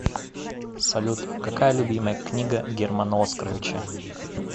салют какая любимая книга германа оскаровича